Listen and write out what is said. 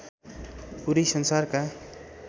पूरै संसारका